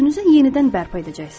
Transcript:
Özünüzü yenidən bərpa edəcəksiniz.